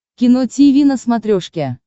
кино тиви на смотрешке